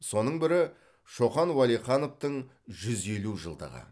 соның бірі шоқан уәлихановтың жүз елу жылдығы